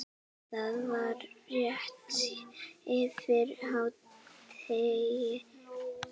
Það var rétt eftir hádegi.